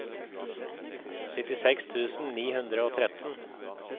syttiseks tusen ni hundre og tretten